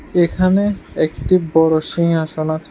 এখানে একটি বড়ো সিংহাসন আছে।